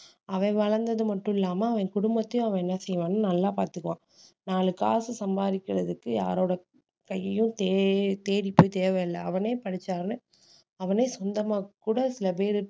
அவன் வளர்ந்தது மட்டும் இல்லாம அவன் குடும்பத்தையும் அவன் என்ன செய்வான்னு நல்லா பாத்துக்குவான் நாலு காசு சம்பாதிக்கிறதுக்கு யாரோட கையையும் தே~ தேடிப்போய் தேவையில்லை அவனே படிச்சாலும் அவனே சொந்தமா கூட சில பேரு